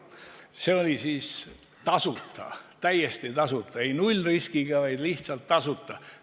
See oli tasuta, täiesti tasuta, mitte nullriskiga, vaid lihtsalt tasuta.